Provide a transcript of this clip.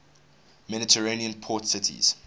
mediterranean port cities